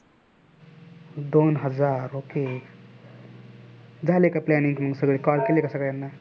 दोन हजार okay झाली का planning मग सगळे call केले का सगळ्यांना.